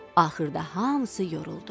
Axırda hamısı yoruldu.